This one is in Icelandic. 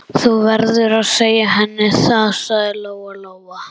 Þú verður að segja henni það, sagði Lóa-Lóa.